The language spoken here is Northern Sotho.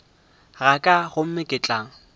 ga ka gomme ke tla